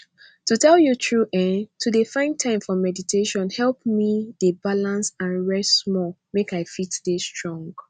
to tell you true eeh to dey find time for meditation help me dey balance and rest small make i fit dey strong